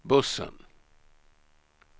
bussen